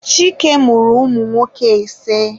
Chike mụrụ ụmụ nwoke ise.